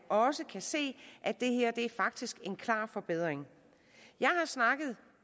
også kan se at det her faktisk en klar forbedring jeg har snakket